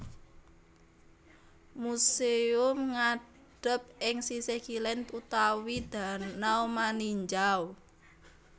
Museum ngadhep ing sisih kilén utawi danau Maninjau